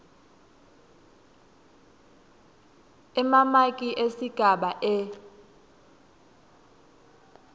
emamaki esigaba e